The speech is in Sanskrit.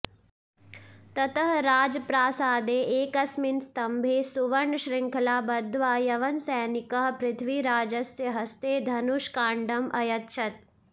ततः राजप्रासादे एकस्मिन् स्तम्भे सुवर्णश्रृङ्खलाः बद्ध्वा यवनसैनिकः पृथ्वीराजस्य हस्ते धनुष्काण्डम् अयच्छत्